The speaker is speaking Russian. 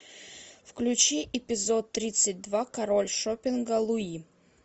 включи эпизод тридцать два король шопинга луи